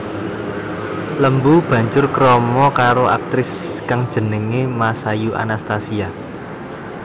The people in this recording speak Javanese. Lembu banjur krama karo aktris kang jenengé Masayu Anastasia